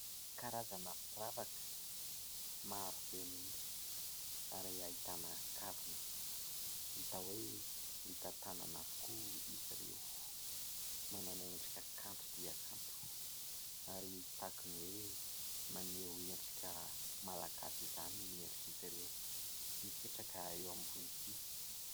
karazana firavaka maro be mihitsy ary ahitana kavina hita hoe vita tanana avokoa izy ireo. Manana endrika kanto dia kanto ary tahaka ny hoe maneho endrika malagasy izany ny endrika izy ireo mipetraka eo ambony ity.